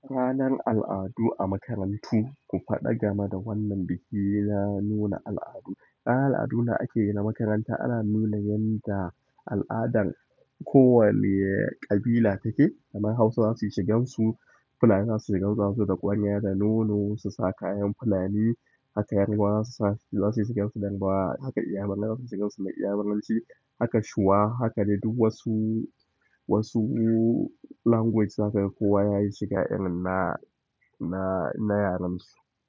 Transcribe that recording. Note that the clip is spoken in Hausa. Ranar al'adu a makarantu, ku faɗa game da wannan bikin na nuna al'adu. Ranar al'adu da ake yi a makaranta ana nuna yanda al'adan kowane ƙabila take. Kamar Hausawa suyi shigan su, Fulani za su yi shigan su da kwariya da nono su sa kayan Fulani. Haka yarbawa za su yi shigan su da yarbawa, haka iyamaranci za su yi shigan su da iyamaranci. Haka Shuwa haka dai duk wasu, wasu language zakaga kowa yayi shiga na, na, na yaren su.